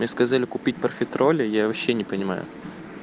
мне сказали купить профитроли я вообще не понимаю